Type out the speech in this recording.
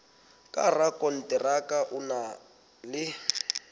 ka rakonteraka o na le